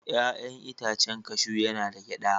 Ya'yan itacen kashu yana da gyada.